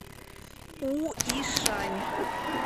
уишань